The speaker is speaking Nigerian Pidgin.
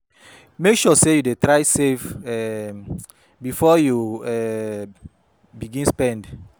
Mek sure sey yu dey try save um bifor yu um begin spend